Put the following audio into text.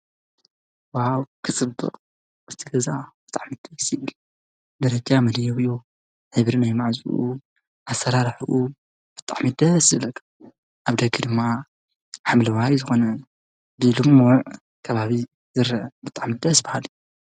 ዋው ክፅብቕ! እቲ ገዛ ብጣዕሚ ደስ ይብል፡፡ ደረጃ መደየቢኡ፣ እግሪ ናይ ማዕፁኡ፣ ኣሰራርሕኡ ብጣዕሚ ደስ ዝብል በቃ፡፡ ኣብ ደገ ድማ ሓምለዋይ ዝኾነ ልሙዕ ከባቢ ዝርአ፡፡ ብጣዕሚ ደስ በሃሊ፡፡